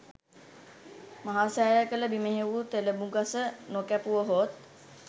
මහසෑය කළ බිමෙහි වූ තෙළඹුගස නො කැපුවහොත්